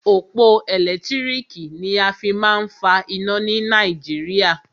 Òpó ẹ̀lẹ́tírìkì ni a fí má a ń fa iná ni Nàìjíríà.